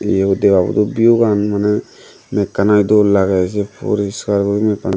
iyot deba bur do view gan mane meg ani dol lage si poriskar guri meg ani.